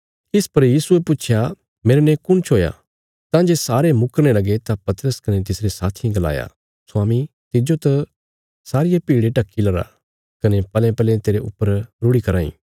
इस पर यीशुये पुच्छया मेरने कुण छोया तां जे सारे मुकरने लगे तां पतरस कने तिसरे साथियें गलाया स्वामी तिज्जो त सारिये भीड़े ढकी लरा कने पलेपले तेरे ऊपर रुढ़ि कराँ इ